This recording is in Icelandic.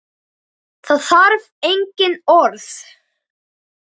Það þarf engin orð.